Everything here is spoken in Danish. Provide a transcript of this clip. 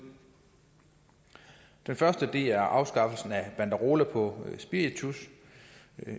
den første er afskaffelsen af banderoler på spiritus